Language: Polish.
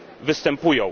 występują.